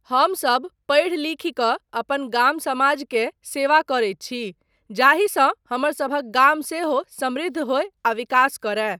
हमसब पढ़ि लिखि कऽ अपन गाम समाज के सेवा करैत छी जाहिसँ हमरसभक गाम सेहो समृद्ध होय आ विकास करय।